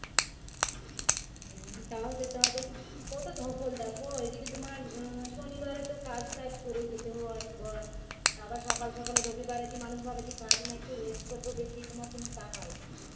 হম তাও যেতে হবে কতধকল দেখো এদিকে তোমার শনিবার এত কাজটাজ করে যেতে হয় ঘর তাঁরা সকাল সকাল এ রবিবারে কি মানুষ ভাবে যে কাজ নাই একটু rest করবো বেশি তোমার কিন্তু তা হয় না